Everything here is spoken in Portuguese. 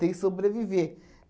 Tem sobreviver.